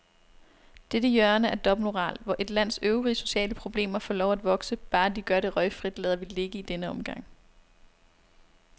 Dette hjørne af dobbeltmoral, hvor et lands øvrige sociale problemer får lov at vokse, bare de gør det røgfrit, lader vi ligge i denne omgang.